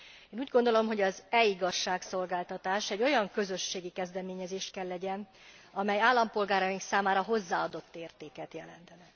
Én úgy gondolom, hogy az e igazságszolgáltatás egy olyan közösségi kezdeményezés kell legyen, amely állampolgáraink számára hozzáadott értéket jelent.